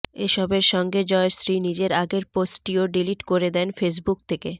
এসবের সঙ্গে জয়শ্রী নিজের আগের পোস্টটিও ডিলিট করে দেন ফেসবুক থেকে